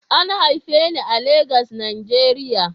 An haife ni a Legas, Najeriya